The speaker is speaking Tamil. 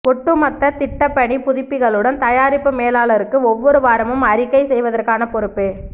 ஒட்டுமொத்த திட்டப்பணி புதுப்பிப்புகளுடன் தயாரிப்பு மேலாளருக்கு ஒவ்வொரு வாரமும் அறிக்கை செய்வதற்கான பொறுப்பு